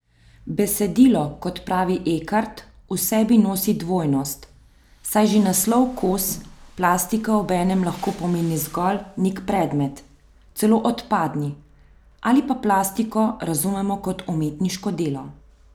Besedilo, kot pravi Ekart, v sebi nosi dvojnost, saj že naslov Kos plastike obenem lahko pomeni zgolj nek predmet, celo odpadni, ali pa plastiko razumemo kot umetniško delo.